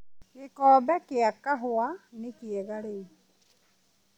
gĩkombe kĩa kahũwa nĩ kĩega rĩu